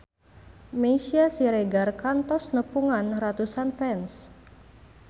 Meisya Siregar kantos nepungan ratusan fans